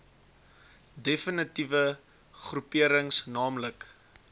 defnitiewe groeperings naamlik